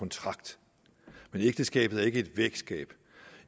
kontrakt men ægteskabet er ikke et vægskab